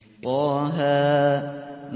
طه